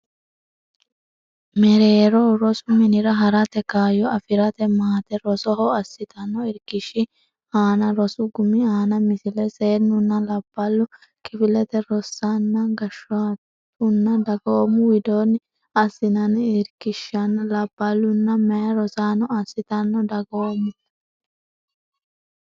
mereero rosu minira ha rate kaayyo afi rate maate rosoho assitanno irkishshi aana rosu gumi aana Misile Seennunna labballu kifilete rossanna gashshootunna dagoomu widoonni assinanni irkishshinna labballunna meya rosaano assitanno dagoomu.